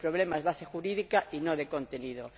El problema es de base jurídica y no de contenido.